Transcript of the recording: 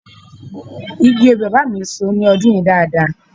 Igi obì bàbá mi so ní ọdún yìí dáadáa